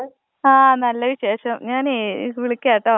ആ നല്ല വിശേഷം. ഞാനെയ്യ് വിളിക്കാട്ടോ.